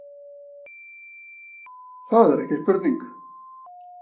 Það er ekki spurning